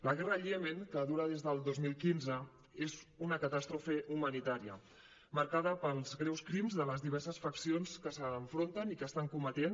la guerra al iemen que dura des del dos mil quinze és una catàstrofe humanitària marcada pels greus crims de les diverses faccions que s’enfronten i que estan cometent